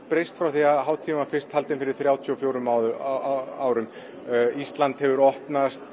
breyst frá því hátíðin var fyrst haldin fyrir þrjátíu og fjórum árum ísland hefur opnast